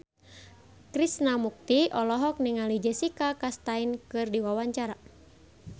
Krishna Mukti olohok ningali Jessica Chastain keur diwawancara